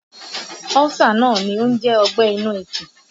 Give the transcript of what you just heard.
Ọ́sà náà ni ó ń jẹ́ ọgbẹ́ inú ikùn